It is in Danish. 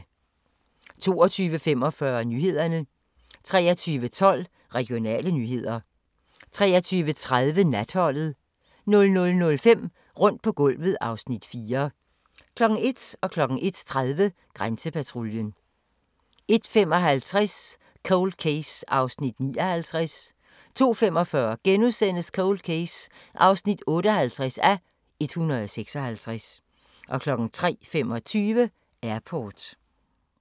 22:45: Nyhederne 23:12: Regionale nyheder 23:30: Natholdet 00:05: Rundt på gulvet (Afs. 4) 01:00: Grænsepatruljen 01:30: Grænsepatruljen 01:55: Cold Case (59:156) 02:45: Cold Case (58:156)* 03:25: Airport